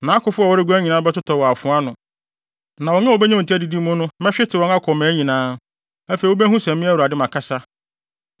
Nʼakofo a wɔreguan nyinaa bɛtotɔ wɔ afoa ano, na wɔn a wobenya wɔn ti adidi mu no mɛhwete wɔn akɔ mmaa nyinaa. Afei wubehu sɛ me Awurade makasa.